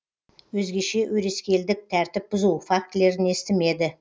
өзгеше өрескелдік тәртіп бұзу фактілерін естімеді